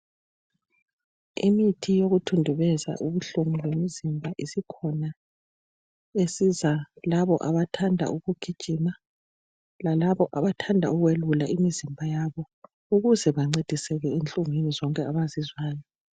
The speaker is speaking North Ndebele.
Imithi yokuthundubeza ubuhlungu lomzimba isikhona, esiza labo abathanda ukugijima lalabo abathanda ukwelula imzimba yabo ukuze bancediseke enhlungwini zonke abazizwayo.